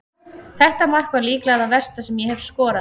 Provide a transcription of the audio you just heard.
Þetta mark var líklega það versta sem ég hef skorað.